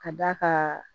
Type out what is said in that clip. Ka d'a ka